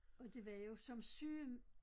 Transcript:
Og det var jo som syge